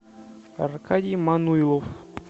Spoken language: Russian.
аркадий мануйлов